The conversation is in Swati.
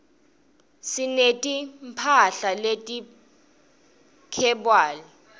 sineti mphahla leti khebywali